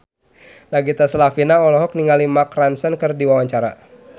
Nagita Slavina olohok ningali Mark Ronson keur diwawancara